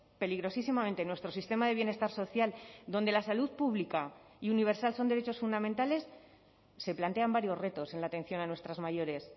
peligrosísimamente nuestro sistema de bienestar social donde la salud pública y universal son derechos fundamentales se plantean varios retos en la atención a nuestras mayores